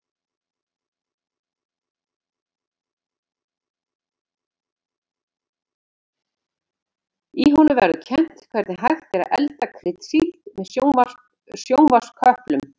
Í honum verður kennt hvernig hægt er að elda kryddsíld með sjónvarpsköplum.